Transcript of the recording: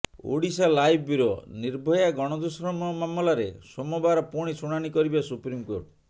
Odisha live bureau Nirbhaya ଗଣଦୁଷ୍କର୍ମ ମାମଲାରେ ସୋମବାର ପୁଣି ଶୁଣାଣି କରିବେ ସୁପ୍ରିମକୋର୍ଟ